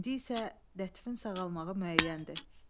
İndi isə Lətifin sağalmağı müəyyəndir.